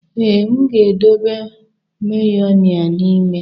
Ee, m ga-edobe Mayonia n'ime.